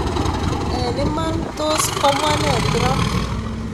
Ang Iman Ii tos komwaa nee trump?